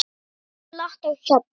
Oft er glatt á hjalla.